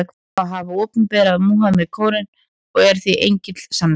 Hann á að hafa opinberað Múhameð Kóraninn, og er því engill sannleikans.